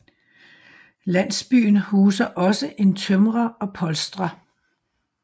Landsbyen huser også en tømrer og polstrer